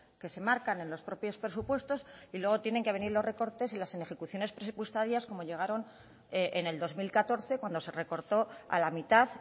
que se marcan en los propios presupuestos y luego tienen que venir los recortes y las inejecuciones presupuestarias como llegaron en el dos mil catorce cuando se recortó a la mitad